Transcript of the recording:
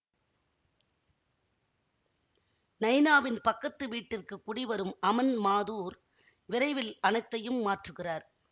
நைனாவின் பக்கத்து வீட்டிற்கு குடிவரும் அமன் மாதூர் விரைவில் அனைத்தையும் மாற்றுகிறார்